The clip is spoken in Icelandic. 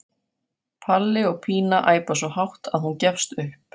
Palli og Pína æpa svo hátt að hún gefst upp.